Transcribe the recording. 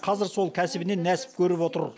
қазір сол кәсібінен нәсіп көріп отыр